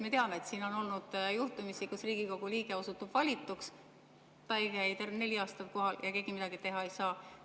Me teame, et siin on olnud juhtumeid, kui Riigikogu liige osutub valituks, aga ta ei käi tervelt neli aastat kohal ja keegi midagi teha ei saa.